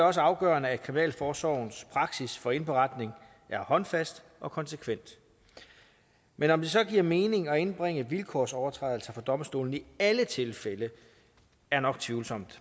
også afgørende at kriminalforsorgens praksis for indberetning er håndfast og konsekvent men om det så giver mening at indbringe vilkårsovertrædelser for domstolene i alle tilfælde er nok tvivlsomt